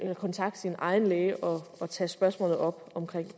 kontakte sin egen læge og tage spørgsmålet om